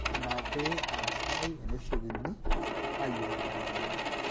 ina pee aa sidai enesiokini aayiolou ina mweyian